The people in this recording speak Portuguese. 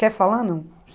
Quer falar, não?